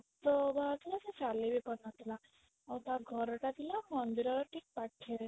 ରକ୍ତ ବାହାରୁ ଥିଲା ଆଉ ସେ ଚାଲି ବି ପାରୁନଥିଲା ଆଉ ତା ଘରଟା ଥିଲା ମନ୍ଦିରର ଠିକ ପାଖରେ